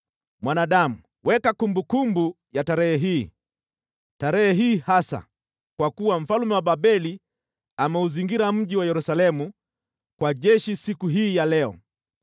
“Mwanadamu, weka kumbukumbu ya tarehe hii, tarehe hii hasa, kwa kuwa mfalme wa Babeli ameuzingira mji wa Yerusalemu kwa jeshi siku hii ya leo.